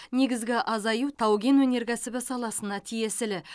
негізгі азаю тау кен өнеркәсібі саласына тиесілі